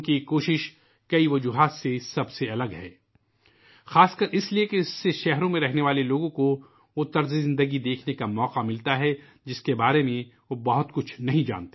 یہ کوشش کئی وجہ سے سب سے الگ ہے ، خاص طور پر اس لئے کہ اس سے شہروں میں رہنے والے لوگوں کو ، وہ طرز زندگی دیکھنے کا موقع ملتاہے ، جس کے بارے میں وہ زیادہ کچھ نہیں جانتے